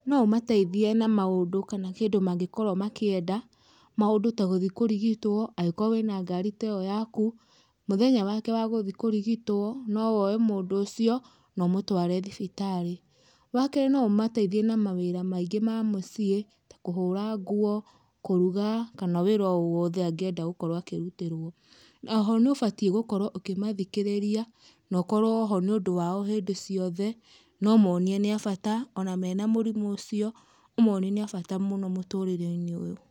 No ũmateithie na maũndũ kana kĩndũ mangĩkorwo makĩenda, maũndũ ta gũthiĩ kũrigitwo, angĩkorwo wĩna ngari ta ĩyo yaku, mũthenya wake wa gũthiĩ kũrigitwo, nowoe mũndũ ũcio no ũmũtware thibitarĩ. Wakerĩ no ũmateithie na mawĩra maingĩ ma mũciĩ ta kũhũra nguo, kũruga kana wĩra o wothe angĩenda gũkorwo akĩrutĩrwo. Oho nĩ ũbatiĩ gũkorwo ũkĩmathikĩrĩria, nokorwo ho nĩũndũ wao hĩndĩ ciothe, no monie nĩ abata ona mena mũrimũ ũcio, ũmoni nĩ abata mũno mũturĩre-inĩ ũyũ.